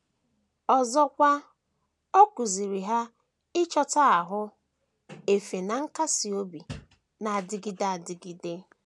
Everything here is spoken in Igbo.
Ọzọkwa, ọ kụziiri ha ịchọta ahụ efe na nkasị obi na - adịgide adịgide.